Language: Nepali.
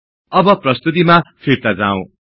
अब प्रस्तुतिमा फिर्ता जाउँ